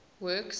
works